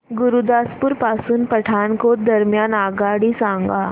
गुरुदासपुर पासून पठाणकोट दरम्यान आगगाडी सांगा